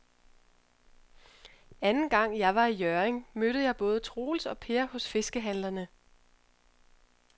Anden gang jeg var i Hjørring, mødte jeg både Troels og Per hos fiskehandlerne.